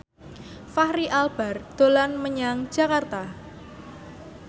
Fachri Albar dolan menyang Jakarta